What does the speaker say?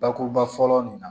Bakuruba fɔlɔ nin na